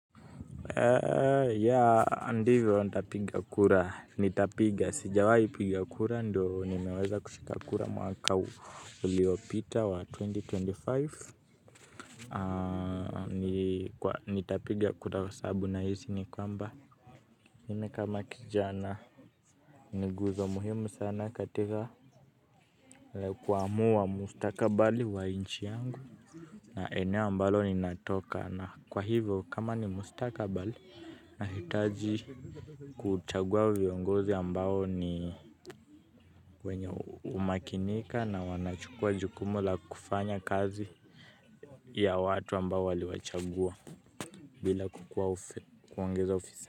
Ya ndivyo nitapiga kura. Nitapiga sijawahi piga kura ndio nimeweza kushika kura mwaka uliopita wa elfu mbili na ishirini na tano. Nitapiga kura kwa sababu nahisi ni kwamba mimi kama kijana ni nguzo muhimu sana katika kuamua mustakabali wa nchi yangu na eneo ambalo ninatoka na kwa hivyo kama ni mustakabali nahitaji kuchagua viongozi ambao ni wenye humakinika na wanachukua jukumu la kufanya kazi ya watu ambao waliwachagua bila kukua ufe kuongeza.